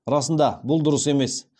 расында бұл дұрыс емес